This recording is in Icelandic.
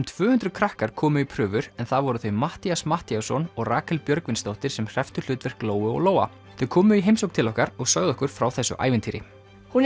tvö hundruð krakkar komu í prufur en það voru þau Matthías Matthíasson og Rakel Björgvinsdóttir sem hrepptu hlutverk Lóu og Lóa þau komu í heimsókn til okkar og sögðu okkur frá þessu ævintýri hún